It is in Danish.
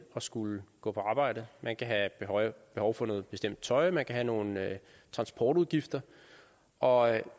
at skulle gå på arbejde man kan have behov for noget bestemt tøj man kan have nogle transportudgifter og